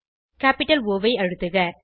capital O I அழுத்துக